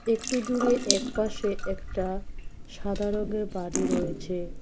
একটু দূরে একপাশে একটা সাদা রঙের বাড়ি রয়েছে।